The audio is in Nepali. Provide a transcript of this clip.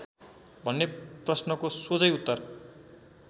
भन्ने प्रश्नको सोझै उत्तर